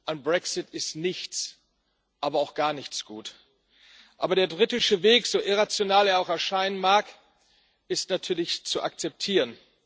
Am Brexit ist nichts, aber auch gar nichts gut. Aber der britische Weg so irrational er auch erscheinen mag ist natürlich zu akzeptieren.